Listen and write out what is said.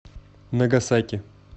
нагасаки